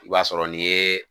I b'a sɔrɔ n'i ye